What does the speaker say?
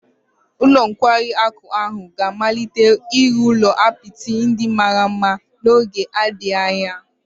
Ụlọ nkwari akụ ahụ ga-amalite ịrụ ụlọ apịtị ndị mara mma n'oge adịghị anya